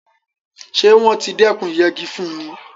Ṣé wọ́n ti dékùn ìyẹgi fúnni?